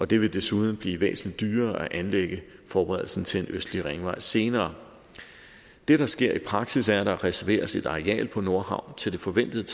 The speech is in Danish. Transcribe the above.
det vil desuden blive væsentlig dyrere at anlægge forberedelsen til østlig ringvej senere det der sker i praksis er at der reserveres et areal på nordhavn til det forventede